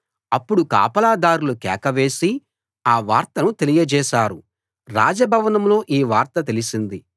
అప్పుడు కాపలాదార్లు కేక వేసి ఆ వార్తను తెలియజేశారు రాజభవనంలో ఈ వార్త తెలిసింది